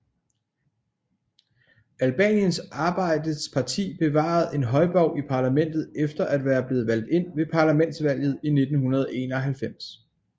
Albaniens Arbejdets Parti bevarede en højborg i parlamentet efter at være blevet valgt ind ved parlamentsvalget i 1991